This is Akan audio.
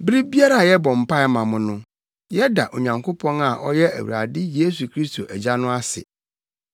Bere biara a yɛbɔ mpae ma mo no, yɛda Onyankopɔn a ɔyɛ Awurade Yesu Kristo Agya no ase.